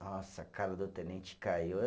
Nossa, a cara do tenente caiu.